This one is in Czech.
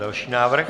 Další návrh.